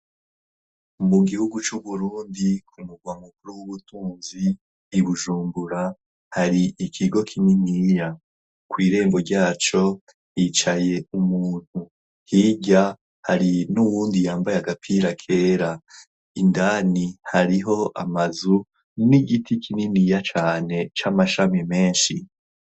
mu gihugu c'uburundi kumugwa mukuru w'ubutunzi ibujumbura hari ikigo kininiya kw' irembo ryaco yicaye umuntu hijya hari n'uwundi yambaye agapira kera indani hariho amazu n'igiti kininiya cane c'amashami menshi